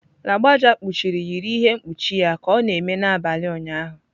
Lagbaja kpuchiri yiri ihe mkpuchi ya ka ọ na-eme n'abalị ụnyaahụ.